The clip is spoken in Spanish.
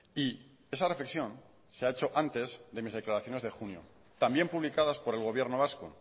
y esa reflexión se ha hecho antes de mis declaraciones de junio también publicadas por el gobierno vasco